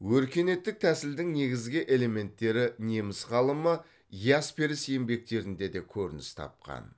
өркениеттік тәсілдің негізгі элементтері неміс ғалымы ясперс еңбектерінде де көрініс тапқан